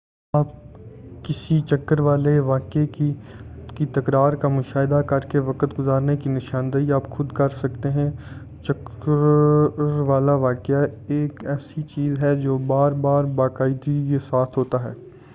آپ کسی چکر والے واقعے کی تکرار کا مشاہدہ کرکے وقت گزرنے کی نشاندہی آپ خود کر سکتے ہیں چکروالا واقعہ ایک ایسی چیز ہے جو بار بار باقاعدگی کے ساتھ ہوتا ہے